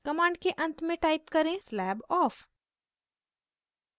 command के अंत में type करें slab off